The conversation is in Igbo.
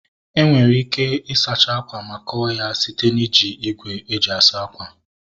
Enwere ike ị sacha akwa ma kọọ ya site na iji igwe e ji asa akwa